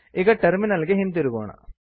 ಈಗ ಟರ್ಮಿನಲ್ ಗೆ ಹಿಂತಿರುಗೋಣ